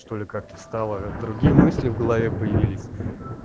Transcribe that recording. что ли как-то встало другие мысли в голове появились